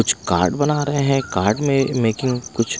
कुछ कार्ड बना रहे हैं कार्ड मेकिंग कुछ--